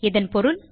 இதன் பொருள்